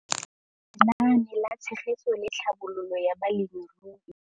Lenaane la Tshegetso le Tlhabololo ya Balemirui